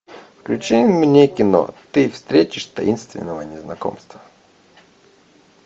включи мне кино ты встретишь таинственного незнакомца